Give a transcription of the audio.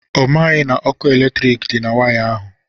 Ọ maghị na okụ eletrik dị na waya ahụ.